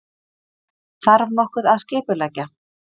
Þarf nokkuð að skipuleggja?